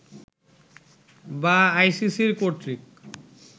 বা আইসিসি কর্তৃক